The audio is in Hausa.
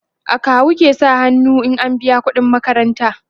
akawu ke sa hannu an biya ƙuɗin makaranta